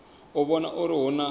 u vhona uri hu na